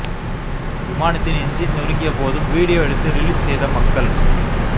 விமானத்தின் என்ஜின் நொறுங்கிய போதும் வீடியோ எடுத்து ரிலீஸ் செய்த மக்கள்